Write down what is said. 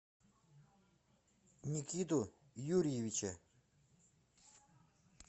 никиту юрьевича